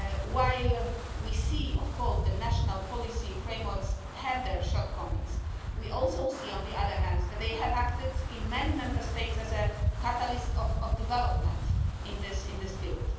While we see, of course, that national policy frameworks have their shortcomings, we also see on the other hand that they have acted in many Member States as a catalyst of development in this field.